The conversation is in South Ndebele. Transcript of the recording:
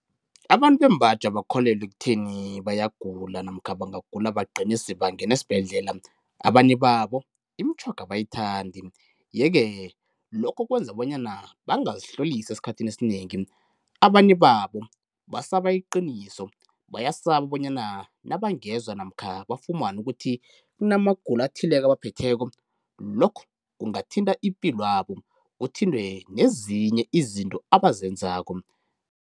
Abantu bembaji abakholelwa ekutheni bayagula namkha bangagula bagcine sebangena esibhedlela, abanye babo imitjhoga abayithandi yeke lokho kwenza bonyana bangazihlolisi esikhathini esinengi. Abanye babo basaba iqiniso, bayasaba bonyana nabangezwa namkha bafumane ukuthi kunamagulo athileko abaphetheko lokho kungathinta ipilo yabo, kuthinte nezinye izinto abazenzako.